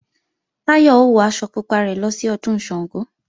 Táyọ̀ ó wọ aṣọ pupa rẹ̀ lọ sí Ọdún Ṣàngó